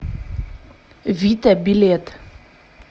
вита билет